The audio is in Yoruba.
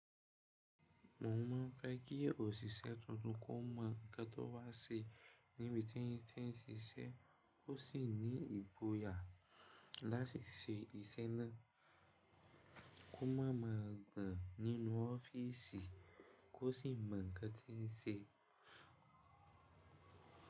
Mo máa ń fẹ́ kí òṣìṣẹ́ tuntun kó mọ ńkan tọ̀ wá ṣe níbi tí yín ti ń ṣiṣẹ́, ó sì ní ìgbòyà láti ṣe iṣẹ́ náà, kó máa ma gbaǹ nínú ọ́fíìsì kó sì mọ̀ ń kan tí ń ṣe.